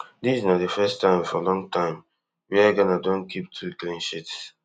dis na di first time for long time wia ghana don keep two cleansheets